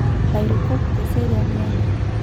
Lairukok teseriani enye.